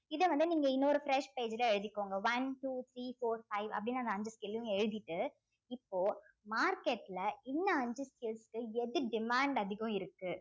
இத வந்து நீங்க இன்னொரு fresh page ல எழுதிக்கோங்க one two three four five அப்படின்னு அந்த அஞ்சு skill ஐயும் எழுதிட்டு இப்போ market ல இன்னும் அஞ்சு skills க்கு எது demand அதிகம் இருக்கு